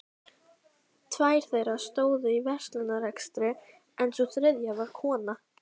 Tvær þeirra stóðu í verslunarrekstri en sú þriðja var kona